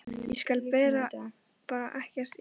Ég skil bara ekkert í honum!